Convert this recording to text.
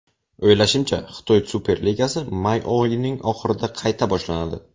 O‘ylashimcha, Xitoy Superligasi may oyining oxirida qayta boshlanadi.